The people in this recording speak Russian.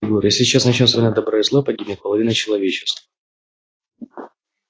егор если сейчас начнётся война добра и зла погибнет половина человечества